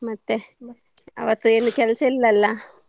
ಮತ್ತೆ ಅವತ್ತು ಏನ್ ಕೆಲ್ಸ ಇಲ್ಲ ಅಲ.